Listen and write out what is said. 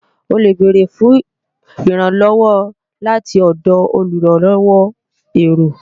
O lè bèrè fún ìrànlọ́wọ́ láti ọ̀dọ̀ olùrànlọ́wọ́ èrò